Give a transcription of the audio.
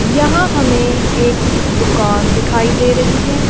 यहां हमें एक दुकान दिखाई दे रही है।